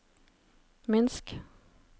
Minsk